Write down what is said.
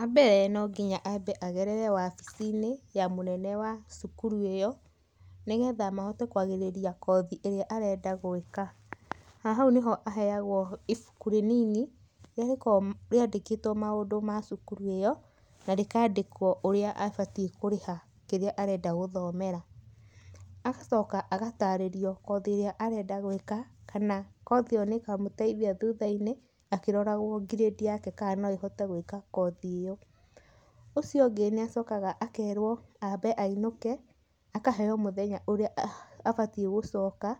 Wa mbere no nginya aambe agerere wabici-inĩ ya mũnene wa cukuru ĩyo nĩgetha mahote kwarĩrĩria kothi ĩrĩa arenda gwĩka. Na hau nĩho aheagũo ibuku rĩnini rĩrĩa rĩkoragwo rĩandĩkĩtũo maũndũ ma cukuru ĩyo na rĩkaandĩkũo ũrĩa abatiĩ kũrĩha kĩrĩa arenda gũthomera. Agacoka agatarĩrio kothi ĩrĩa arenda gwĩka, kana kothi ĩyo nĩ ĩkamũteithia thutha-inĩ akĩroragũo grade yake kana no ĩhote gwĩka kothi ĩyo. Ũcio ũngĩ nĩ acokaga akerũo aambe ainũke, akaheo mũthenya ũrĩa abatiĩ gucoka